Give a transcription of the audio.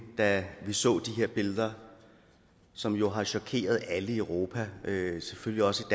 da vi så de her billeder som jo har chokeret alle i europa selvfølgelig også